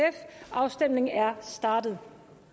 afstemningen er startet